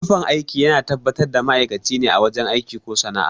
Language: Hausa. Tufan aiki yana tabbatar da ma'aikaci ne a wajen aiki ko sana'a